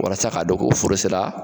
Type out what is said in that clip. Walasa k'a dɔn ko foro sera